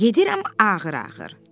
Gedirəm ağır-ağır.